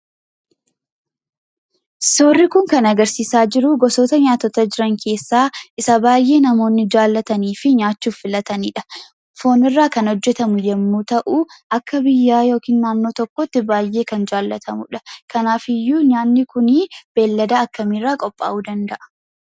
Suurri kun kan agarsiisaa jiruu gosoota nyaatotaa jiran keessaa isa baay'ee namoonni jaallatanii fi nyaachuuf filatanidha. Foonirraa kan hojjetamu yommuu ta'u akka biyyaa yookiin naannoo tokkootti baay'ee kan jaallatamudha. Kanaafiyyuu nyaanni kunii beellada akkamiirraa qophaa'uu danda'a?